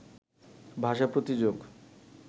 ভাষা প্রতিযোগ